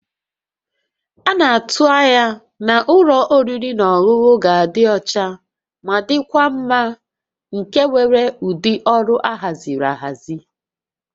A na-atụ anya na ụlọ oriri na ọṅụṅụ ga-adị ọcha ma dịkwa mma nke nwere ụdị ọrụ ahaziri ahazi